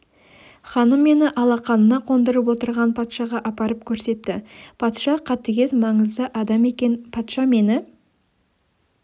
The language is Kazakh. ханым мені алақанына қондырып отырған патшаға апарып көрсетті патша қатыгез маңызды адам екен патша мені